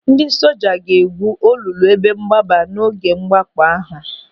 Ndị soja ga-egwú olulu ebe mgbaba n'oge mwakpo ahụ.